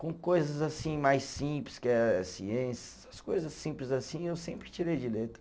Com coisas assim mais simples, que é ciência, essas coisa simples assim eu sempre tirei de letra.